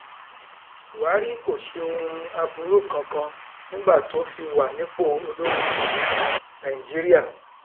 buhari kò ṣe ohun aburú kankan nígbà tó fi wà nípò olórí nàìjíríà